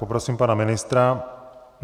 Poprosím pana ministra.